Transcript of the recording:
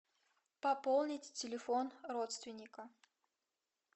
пополнить телефон родственника